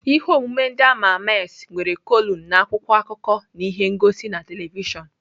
Ihe omume ndị ama ama es nwere kọlụm na akwụkwọ akụkọ na ihe ngosi na telivishọn.